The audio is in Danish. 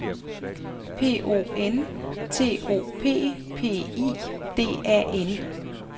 P O N T O P P I D A N